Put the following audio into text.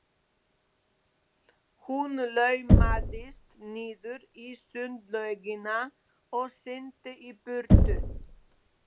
Hún laumaðist niður í sundlaugina og synti í burtu.